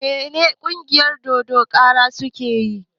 Me en ƙungiyar dodon kara suke yi?